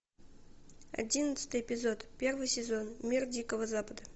одиннадцатый эпизод первый сезон мир дикого запада